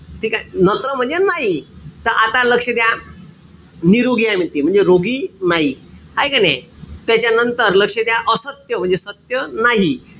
ठीकेय? नत्र म्हणजे नाई. त आता लक्ष द्या. निरोगी आहे म्हणते. म्हणजे रोगी नाही. हाये का नाई? त्याच्यानंतर लक्ष द्या. असत्य म्हणजे सत्य नाही.